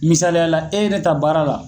Misaliyala e ye ne ta baara la